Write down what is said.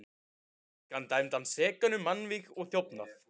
Fékk hann dæmdan sekan um mannvíg og þjófnað.